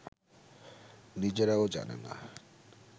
নিজেরাও জানে না